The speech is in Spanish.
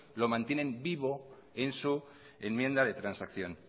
lo mantiene vivo en su enmienda de transacción